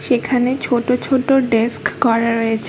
সেখানে ছোট ছোট ডেস্ক করা রয়েছ--